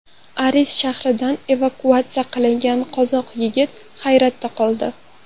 Aris shahridan evakuatsiya qilingan qozoq yigiti hayratda qoldi.